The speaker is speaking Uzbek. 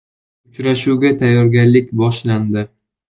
Uchrashuvga tayyorgarlik boshlandi.